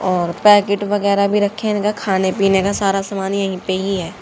और पैकेट वगैरा भी रखे इनका खाने पीने का सारा सामान यहीं पे ही है।